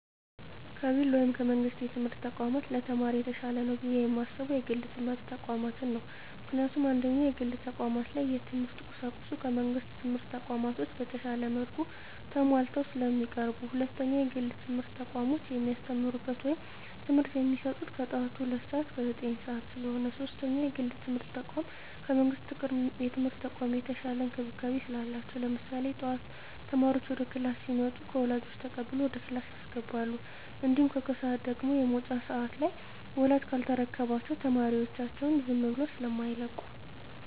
ከግል ወይም ከመንግስት የትምህርት ተቋማት ለተማሪ የተሻለ ነው ብየ የማስበው የግል የትምህርት ተቋማትን ነው። ምክንያቱም፦ 1ኛ, የግል ተቋማት ላይ የትምህርት ቁሳቁሱ ከመንግስት ትምህርት ተቋማቶች በተሻለ መልኩ ተማሟልተው ስለሚቀርቡ። 2ኛ, የግል የትምህርት ተቋሞች የሚያስተምሩት ወይም ትምህርት የሚሰጡት ከጠዋቱ ሁለት ሰዓት እስከ ዘጠኝ ሰዓት ስለሆነ። 3ኛ, የግል የትምርት ተቋም ከመንግስት የትምህርት ተቋም የተሻለ እንክብካቤ ስላላቸው። ለምሳሌ ጠዋት ተማሪዎች ወደ ክላስ ሲመጡ ከወላጆች ተቀብለው ወደ ክላስ ያስገባሉ። እንዲሁም ከሰዓት ደግሞ የመውጫ ሰዓት ላይ ወላጅ ካልተረከባቸው ተማሪዎቻቸውን ዝም ብለው ስማይለቁ።